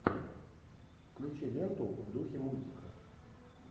включи ленту в духе мультика